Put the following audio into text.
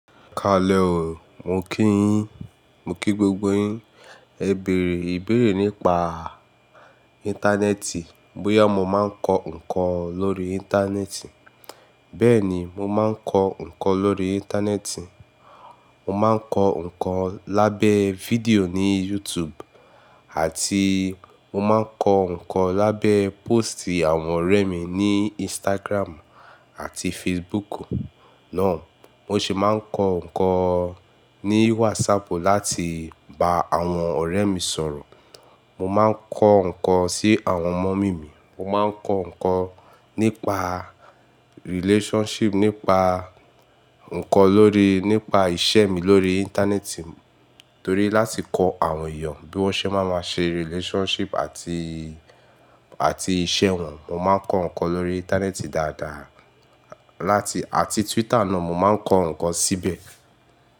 Kaale o, mo kí yín, mo kí gbogbo yín. E béèrè, ìbéèrè nípa interneti, bóyá mo máa ń kọ ǹkan lórí interneti. Bẹ́ẹ̀ni, mo máa ń kọ ǹkan lórí interneti. Mo máa ń kọ ǹkan lábẹ́ fídíò ní YouTube àti mo máa ń kọ ǹkan lábẹ́ póstì àwọn ọ̀rẹ́ mi ní Instagram àti Facebook náà. Mo sì máa ń kọ ǹkan ní WhatsApp láti bá àwọn ọ̀rẹ́ mi sọ̀rọ̀. Mo máa ń kọ ǹkan sí àwọn mummy mi. Mo máa ń kọ ǹkan nípa relationship, nípa ǹkan lóri, nípa ìṣe mi lórí interneti, torí láti kọ àwọn èèyàn bí wọ́n ṣe máa ṣe relationship àti, àti ìṣe wọn. Mo máa ń kọ ǹkan lórí interneti dáadáa. Láti, àti Twitter náà, mo máa ń kọ ǹkan síbẹ̀